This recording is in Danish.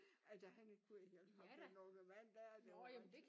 At øh han ikke kunne hjælpe ham den unge mand der det var rigtig